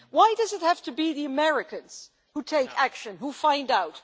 Why does it have to be the Americans who take action, who find out?